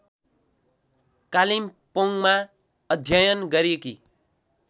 कालिम्पोङमा अध्ययन गरेकी